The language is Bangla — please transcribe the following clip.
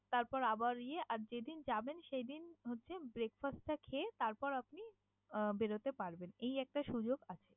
তারপর আবার ইয়ে আর যেদিন যাবেন সেইদিন হচ্ছে breakfast টা খেয়ে তারপর আপনি আহ বের হতে পারবেন। এই একটা সুযোগ আছে।